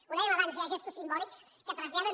ho dèiem abans hi ha gestos simbòlics que traslladen